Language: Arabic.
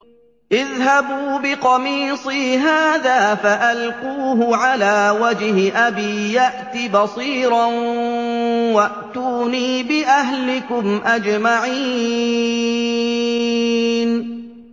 اذْهَبُوا بِقَمِيصِي هَٰذَا فَأَلْقُوهُ عَلَىٰ وَجْهِ أَبِي يَأْتِ بَصِيرًا وَأْتُونِي بِأَهْلِكُمْ أَجْمَعِينَ